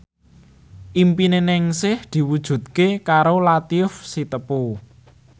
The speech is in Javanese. impine Ningsih diwujudke karo Latief Sitepu